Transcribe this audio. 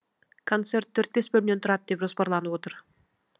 концерт төрт бес бөлімнен тұрады деп жоспарланып отыр